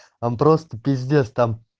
он просто пиздец там